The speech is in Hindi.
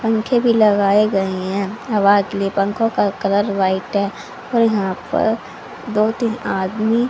पंखे भी लगाए गए हैं हवा के लिए पंखों का कलर वाइट है और यहां पर दो तीन आदमी--